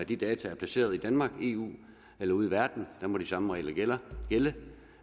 de data er placeret i danmark i eu eller ude i verden der må de samme regler gælde